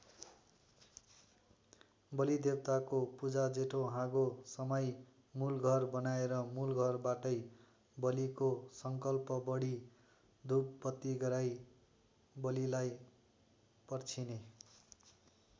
बलिदेवताको पूजाजेठो हाँगो समाई मूलघर बनाएर मूलघरबाटै बलिको सङ्कल्प पढि धूपबत्ति गराई बलिलाई पर्छिने।